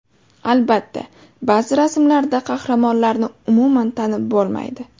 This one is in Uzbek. Albatta, ba’zi rasmlarda qahramonlarni umuman tanib bo‘lmaydi.